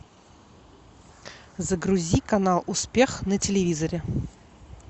загрузи канал успех на телевизоре